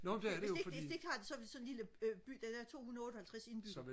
hvis de ikke hvis de ikke har det i sådan en lille by der er 258 indbyggere